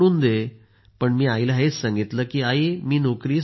मात्र मी सांगितलं आई मी नोकरी नाही सोडणार